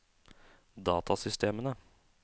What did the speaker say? datasystemene